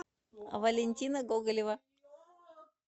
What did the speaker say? валентина гоголева